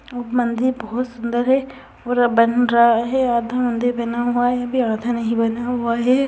एक मंदिर बहुत सुंदर है और बन रहा है आधा मंदिर बना हुआ है अभी आधा नहीं बना हुआ है।